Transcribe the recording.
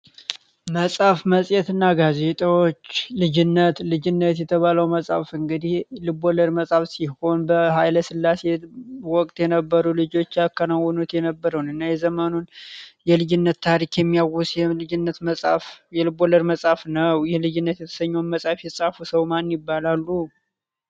መጻሐፍ መጽየት እና ጋርዜጠዎች ልጅነት ልጅነት የተባለው መጽሐፍ እንግዲህ ልብ ወልድ መጻፍ ሲሆን በኃይለ ስላሴ ወቅት የነበሩ ልጆች ያካናውኑት የነበረውን እና የዘመኑን የልጅነት ታሪክ የሚያውስ የልብ ወልድ መጻፍ ነው። ይህ ልጅነት የተሰኘውን መጽሐፍ ይጻፉ ሰው ማን ይባላሉ?